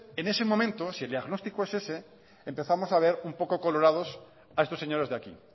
en ese momento si el diagnóstico es ese empezamos a ver un poco colorados a estos señores de aquí